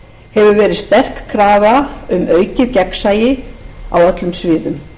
hefur verið sterk krafa um aukið gegnsæi á öllum sviðum